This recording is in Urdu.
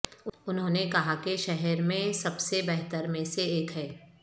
انہوں نے کہا کہ شہر میں سب سے بہتر میں سے ایک ہے